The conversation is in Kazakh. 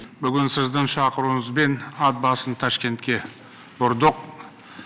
бүгін сіздің шақыруыңызбен ат басын ташкентке бұрдық